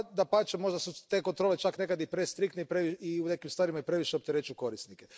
Dapače, možda su te kontrole čak nekad i prestriktne i u nekim stvarima previše opterećuju korisnike.